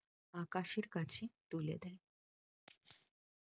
আকাশের কাছে তুলে দেন